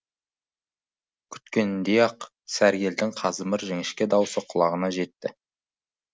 күткеніндей ақ сәргелдің қазымыр жіңішке даусы құлағына жетті